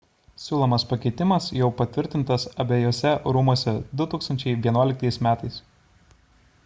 siūlomas pakeitimas jau patvirtintas abejuose rūmuose 2011 m